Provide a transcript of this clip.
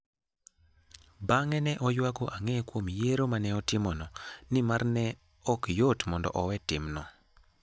Bang'e ne oyuago ang'e kuom yiero ma ne otimono, nimar ne ok yot mondo owe timno.